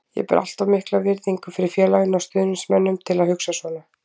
Ég ber allt of mikla virðingu fyrir félaginu og stuðningsmönnunum til að hugsa svona.